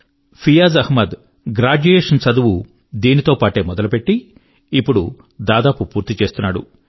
ఫియాజ్ అహ్మద్ యొక్క గ్రాడ్యుయేషన్ చదువు దీనితో పాటే మొదలుపెట్టి ఇప్పుడు దాదాపు పూర్తి చేస్తున్నాడు